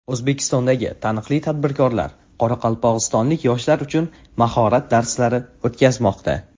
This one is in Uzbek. O‘zbekistondagi taniqli tadbirkorlar qoraqalpog‘istonlik yoshlar uchun mahorat darslari o‘tkazmoqda.